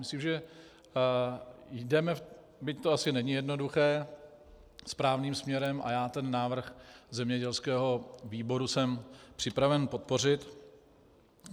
Myslím, že jdeme, byť to asi není jednoduché, správným směrem, a já ten návrh zemědělského výboru jsem připraven podpořit.